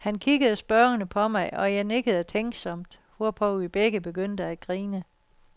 Han kiggede spørgende på mig, og jeg nikkede tænksomt, hvorpå vi begge begyndte at grine.